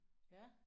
Ja